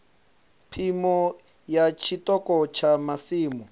phimo ya tshiṱoko tsha masimu